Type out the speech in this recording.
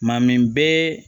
Maa min bɛ